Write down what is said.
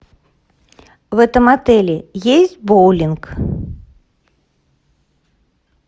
в этом отеле есть боулинг